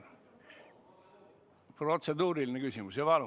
Protseduuriline küsimus?